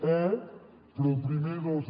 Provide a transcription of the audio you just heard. e però el primer dos